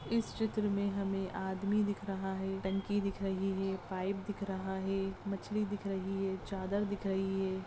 इस चित्र में हमें आदमी दिख रहा है टंकी दिख रही है पाइप दिख रहा है मछली दिख रही है चादर दिख रही है।